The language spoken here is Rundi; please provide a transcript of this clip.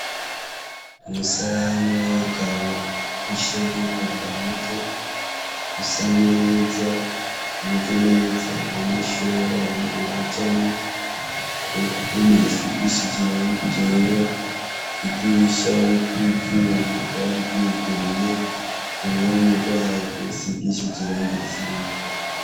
Umusalani w'abagabo w' gushiramwo umwanda muto usa neza umeze neza abanyeshuri b'abahungu bajamwo ku pomasi gishije iranga gera idirisha ririko ivyuma ryari ryuguruye urome rwaro geeusigishije iranga irisa n'umuhondo.